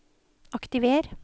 aktiver